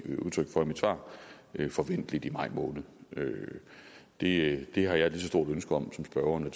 udtryk for i mit svar forventeligt i maj måned det det har jeg et ligeså stort ønske om som spørgeren og